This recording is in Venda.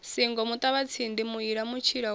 singo muṱavhatsindi muila mutshila wa